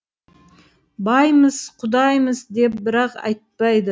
баймыс кудаймыс деп бірақ айтпайды